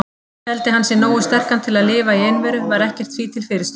Teldi hann sig nógu sterkan til að lifa í einveru, var ekkert því til fyrirstöðu.